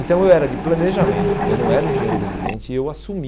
Então eu era de planejamento, eu não era engenheiro residente e eu assumi